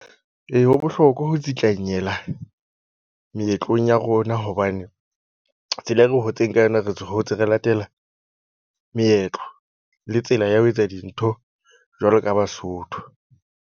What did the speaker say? E, ho bohlokwa ho tsetlanyela meetlong ya rona, hobane tsela e re hotseng ka yona re hotse re latela meetlo le tsela ya ho etsa dintho. Jwalo ka Basotho.